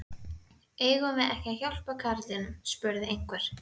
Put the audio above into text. Eigum við ekki að hjálpa karlinum? spurði einhver.